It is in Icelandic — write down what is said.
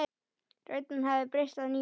Röddin hafði breyst að nýju.